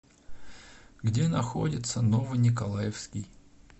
где находится ново николаевский